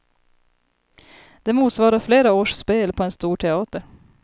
Det motsvarar flera års spel på en stor teater.